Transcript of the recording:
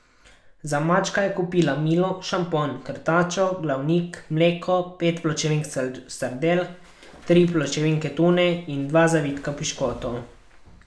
Za mačka je kupila milo, šampon, krtačo, glavnik, mleko, pet pločevink sardel, tri pločevinke tune in dva zavitka piškotov.